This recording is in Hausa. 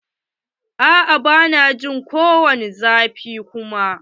A'a ba na jin ko wani zafi kuma.